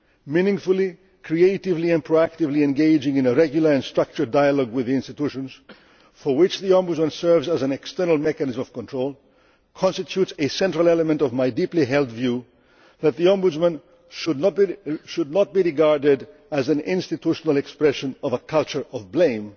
Meaningfully, creatively and proactively engaging in a regular and structured dialogue with the institutions, for which the Ombudsman serves as an external mechanism of control, constitutes a central element of my deeply held view that the Ombudsman should not be regarded as an institutional expression of a culture of